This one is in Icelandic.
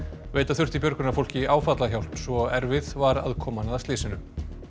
veita þurfti björgunarfólki áfallahjálp svo erfið var aðkoman að slysinu